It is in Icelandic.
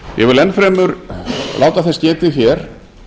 ég vil enn fremur láta þess getið hér